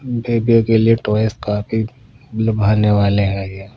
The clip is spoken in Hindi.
बेबियों के लिए टॉयज काफी लुभाने वाले हैं ये।